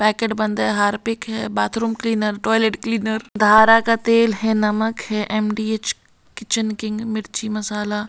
packet बंद है Harpic है bathroom cleaner toilet cleaner Dhara का तेल है नमक है एम_डी_एच किचन किंग मिर्ची मसाला और --